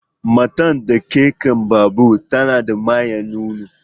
Matar da ke kan babur tana da manyan nono.